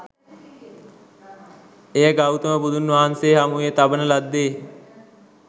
එය ගෞතම බුදුන් හමුවේ තබන ලද්දෙ